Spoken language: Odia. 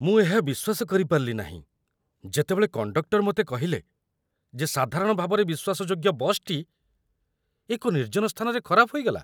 ମୁଁ ଏହା ବିଶ୍ୱାସ କରିପାରିଲି ନାହିଁ ଯେତେବେଳେ କଣ୍ଡକ୍ଟର ମୋତେ କହିଲେ ଯେ ସାଧାରଣ ଭାବରେ ବିଶ୍ୱାସଯୋଗ୍ୟ ବସ୍‌ଟି ଏକ ନିର୍ଜନ ସ୍ଥାନରେ ଖରାପ ହୋଇଗଲା!